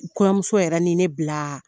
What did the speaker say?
Kɔɲɔmuso yɛrɛ ni ne bila